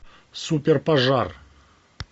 супер пожар